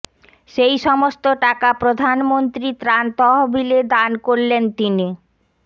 সেই সমস্ত টাকা প্রধানমন্ত্রী ত্রাণ তহবিলে দান করলেন তিনি